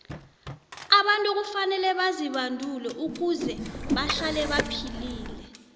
abantu kufanele bazibandule ukuze bahlale baphilile